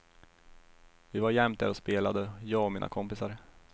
Vi var jämt där och spelade, jag och mina kompisar.